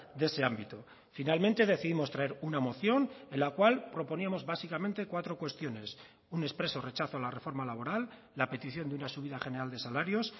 de ese ámbito finalmente decidimos traer una moción en la cual proponíamos básicamente cuatro cuestiones un expreso rechazo a la reforma laboral la petición de una subida general de salarios